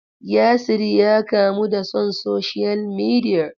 Yasir ya kamu da son social media.